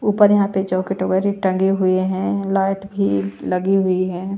ऊपर यहां पे चॉकलेट वगैरह टंगे हुए हैं लाइट भी लगी हुई है।